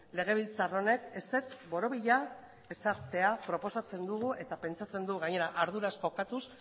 legebiltzar honek ezetz borobila ezartzea proposatzen dugu eta pentsatzen dugu gainera arduraz jokatuz